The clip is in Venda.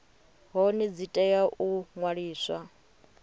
hone dzi tea u ṅwaliswa